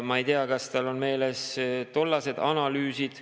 Ma ei tea, kas tal on meeles tollased analüüsid.